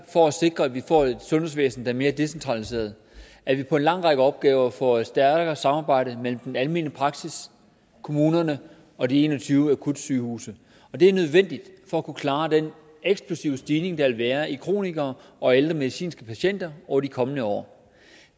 for at sikre at vi får et sundhedsvæsen der er mere decentraliseret at vi på en lang række opgaver får et stærkere samarbejde mellem den almen praksis kommunerne og de en og tyve akutsygehuse det er nødvendigt for at kunne klare den eksplosive stigning der vil være i kronikere og ældre medicinske patienter over de kommende år